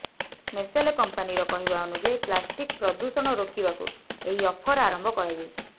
Nestle କମ୍ପାନିର କହିବା ଅନୁଯାୟୀ ପ୍ଲାଷ୍ଟିକ ପ୍ରଦୂଷଣ ରୋକିବାକୁ ଏହି ଅଫର ଆରମ୍ଭ କରାଯାଇଛି